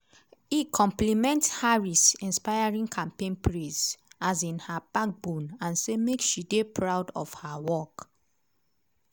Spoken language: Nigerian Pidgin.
e compliment harris' "inspiring" campaign praise um her "backbone" and say make she dey proud of her work.